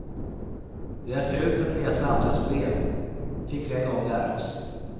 Det är fult att läsa andras brev, fick vi en gång lära oss.